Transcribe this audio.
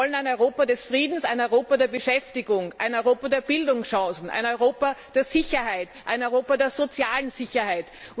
Wir wollen ein Europa des Friedens, ein Europa der Beschäftigung, ein Europa der Bildungschancen, ein Europa der Sicherheit, ein Europa der sozialen Sicherheit.